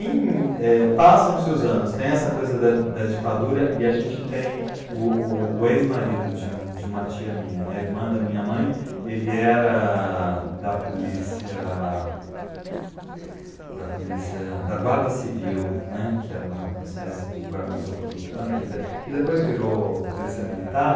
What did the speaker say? E é, passam-se os anos, tem essa coisa da da ditadura e a gente tem o o o ex-marido de um de uma tia minha né, irmã da minha mãe, ele era da polícia, da polícia da guarda civil né, que era uma uma espécie de guarda metropolitana, que de que depois virou polícia militar.